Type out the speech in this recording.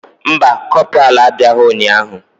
Mba, kopralu abịaghị ụnyahụ.